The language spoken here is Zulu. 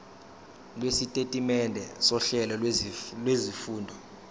lwesitatimende sohlelo lwezifundo